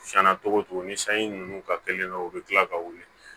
Tiɲɛna togo togo ni sanji nunnu ka teli dɔrɔn u bɛ kila ka wuli